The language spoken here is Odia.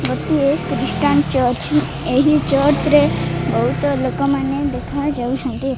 ଗୋଟିଏ କ୍ରିଷ୍ଟାନ ଚର୍ଚ୍ଚ ଏହି ଚର୍ଚ୍ଚ ରେ ବୋହୁତ ଲୋକମାନେ ଦେଖା ଯାଉଚନ୍ତି।